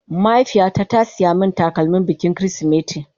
Mahaifiya ta ta siya min takalmin bikin kirisimeti